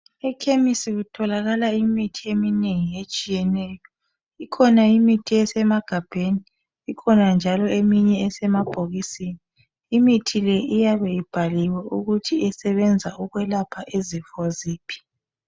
EKhemisi kutholakala imithi eminengi etshiyeneyo. Ikhona imithi esemagabheni ikhona njalo eminye esemabhokisini. Imithi le iyabe ibhaliwe ukuthi isebenza ukulapha izifo ziphi.